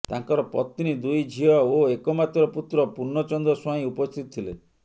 ତାଙ୍କର ପତ୍ନୀ ଦୁଇ ଝିଅ ଓ ଏକମାତ୍ର ପୁତ୍ର ପୂର୍ଣ୍ଣଚନ୍ଦ୍ର ସ୍ୱାଇଁ ଉପସ୍ଥିତ ଥିଲେ